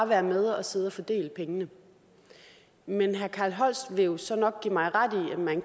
være med og sidde og fordele pengene men herre carl holst vil jo så nok give mig ret i at man